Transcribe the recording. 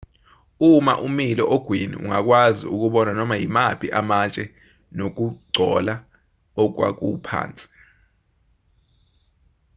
uma umile ogwini ungakwazi ukubona noma yimaphi amatshe nokugcola okwakuphansi